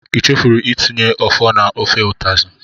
I chefuru itinye ofor na ofe utazi?